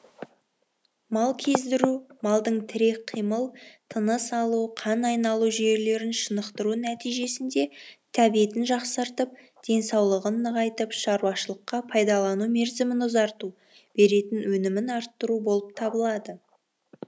мал кездіру малдың тірек қимыл тыныс алу қан айналу жүйелерін шынықтыру нәтижесінде тәбетін жақсартып денсаулығын нығайтып шаруашылыққа пайдалану мерзімін ұзарту беретін өнімін арттыру болып табылады